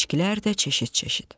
İçkilər də cəşit-cəşit.